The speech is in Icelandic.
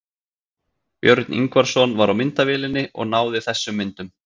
Björn Ingvarsson var á myndavélinni og náði þessum myndum.